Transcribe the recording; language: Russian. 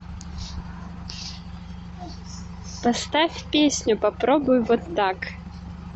поставь песню попробуй вот так